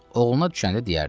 Oğluna düşəndə deyərdi.